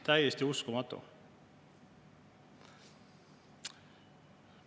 Täiesti uskumatu!